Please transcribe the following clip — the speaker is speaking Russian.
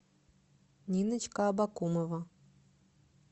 ниночка абакумова